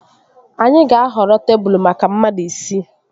Anyị ga-ahọrọ tebụl maka mmadụ isii